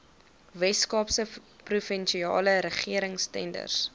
weskaapse provinsiale regeringstenders